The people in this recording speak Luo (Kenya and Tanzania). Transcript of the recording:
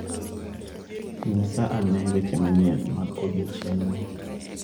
Nyisa ane weche manyien mag odiechieng'ni.